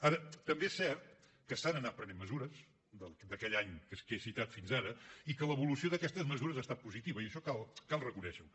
ara també és cert que s’han anat prenent mesures d’aquell any que he citat fins ara i que l’evolució d’aquestes mesures ha estat positiva i això cal reconèixer ho